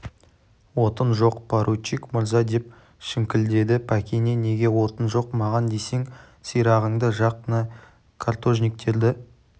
отын жоқ поручик мырза деп шіңкілдеді пәкене неге отын жоқ маған десең сирағыңды жақ на каторжниктерді